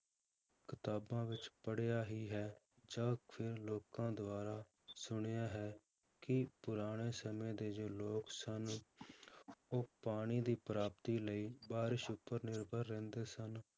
ਕਿਤਾਬਾਂ ਵਿੱਚ ਪੜ੍ਹਿਆ ਹੀ ਹੈ ਜਾਂ ਫਿਰ ਲੋਕਾਂ ਦੁਆਰਾ ਸੁਣਿਆ ਹੈ ਕਿ ਪੁਰਾਣੇ ਸਮੇਂ ਦੇ ਜੋ ਲੋਕ ਸਨ ਉਹ ਪਾਣੀ ਦੀ ਪ੍ਰਾਪਤੀ ਲਈ ਬਾਰਿਸ਼ ਉੱਪਰ ਨਿਰਭਰ ਰਹਿੰਦੇ ਸਨ